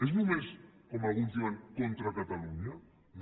és només com alguns diuen contra catalunya no